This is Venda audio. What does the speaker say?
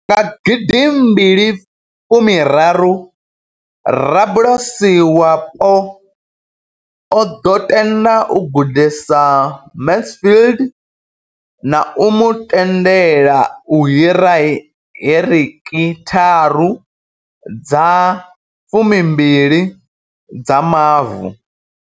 Nga gidi mbili fumi raru, rabulasi wapo o ḓo tenda u gudisa Mansfield na u mu tendela u hira heki tharu dza 12 dza mavu.